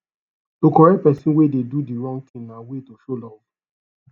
to correct persin wey de do di wrong thing na way to show love